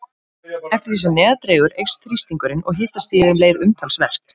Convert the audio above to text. Eftir því sem neðar dregur eykst þrýstingurinn og hitastigið um leið umtalsvert.